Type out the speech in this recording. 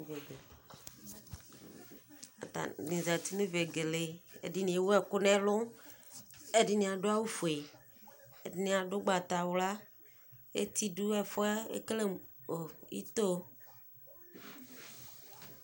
Atani zati nʋ vegele ɛdi ewʋ ɛkʋ nʋ ɛlʋ ɛdini adʋ awʋfue ɛdini adʋ ʋgbatawla eti dʋ ɛfʋɛ ekele mʋ ito